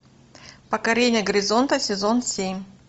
покорение горизонта сезон семь